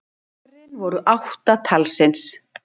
Pörin voru átta talsins